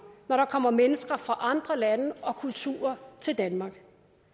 når der kommer mennesker fra andre lande og kulturer til danmark